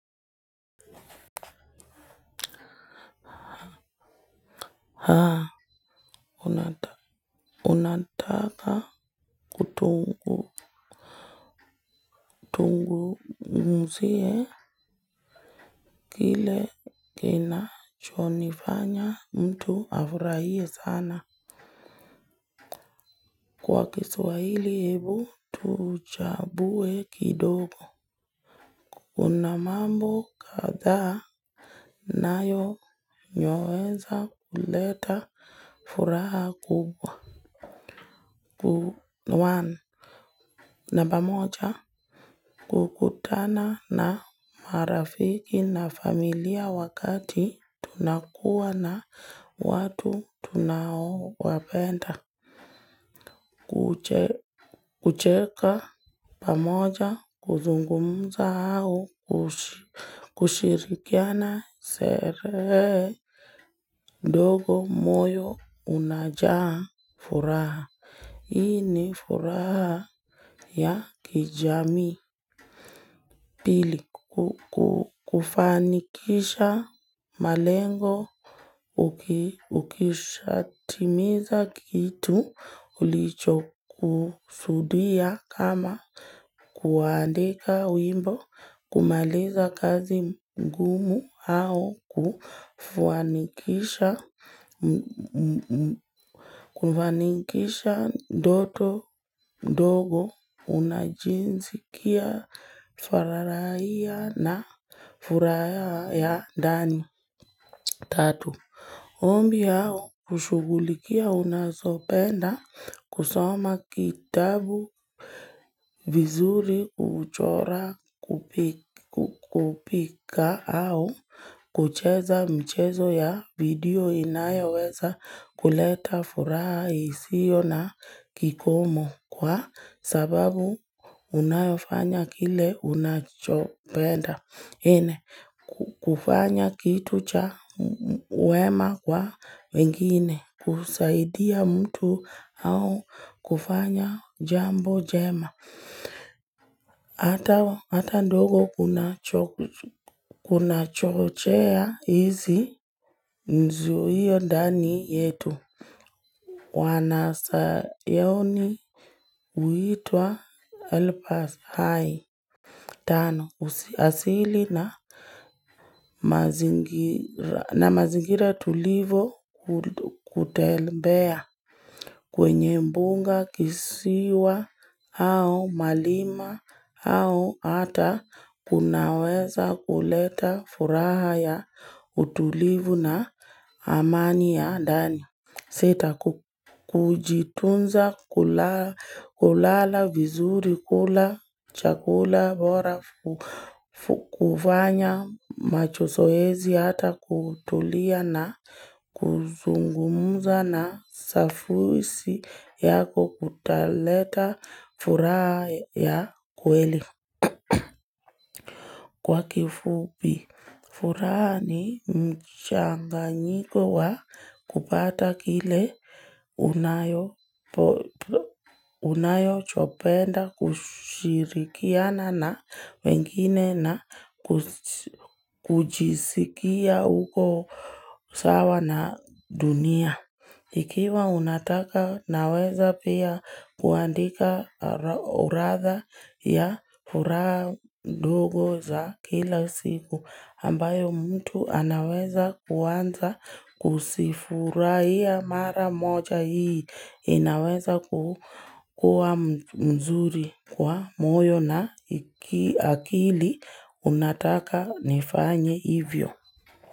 Haa, unataka tuzungumzie kile kinacho nifanya mtu afurahie sana. Kwa kiswahili, hebu tuchambue kidogo. Kuna mambo kadhaa yanayoweza kuleta furaha kubwa. Namba moja kukutana na marafiki na familia wakati tunakuwa na watu tunaowapenda kucheka. Pamoja kuzungumza, au kushirikiana sherehe ndogo, moyo unajaa furaha. Hii ni furaha. Ya kijamii, pili, kufanikisha malengo uki ukishatimiza kitu ulichokusudia kama kuandika wimbo, kumaliza kazi ngumu au kufanikisha kufanikisha ndoto ndogo unajisikia fararahia, na furaha ya ndani Tatu, ombi hao hushughulikia unazopenda kusoma kitabu vizuri huchora kupi kupika au, kucheza michezo ya video, inayoweza kuleta furaha isiyo na kikomo, kwa sababu unayofanya kile unachopenda. Nne, kufanya kitu cha wema kwa wengine. Kusaidia mtu au kufanya jambo njema. Hata ndogo kunachochea hizi nzuio ndani yetu. Wanasayaoni huitwa Elpass high. Tano, asili na mazingira tulivo kutembea. Kwenye mbunga, kisiwa au mlima, au hata kunaweza kuleta furaha ya utulivu na amani ya ndani. Sita, kujitunza kulala vizuri, kula chakula bora kufanya macho zoezi, hata kutulia na kuzungumza na safuisi yako, kutaleta furaha ya kweli kwa kifupi furaha ni mchanganyiko wa kupata kile unayo unayo chopenda kushirikiana na wengine na kujisikia uko sawa na dunia. Ikiwa unataka, naweza pia kuandika uradha ya furaha ndogo za kila siku, ambayo mtu anaweza kuanza kuzifurahia mara moja hii. Inaweza kukuwa mzuri kwa moyo na akili unataka nifanye hivyo.